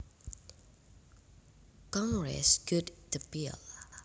Congress gutted the bill